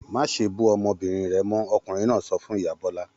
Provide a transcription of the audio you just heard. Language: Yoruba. Má ṣe bú ọmọbìnrin rẹ mọ́! Ọkùnrin náà sọ fún ìyá Bọ́lá l.